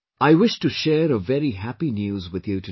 I wish to share a very happy news with you today